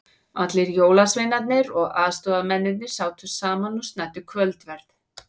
Allir jólasveinarnir og aðstoðamennirnir sátu saman og snæddu kvöldverð.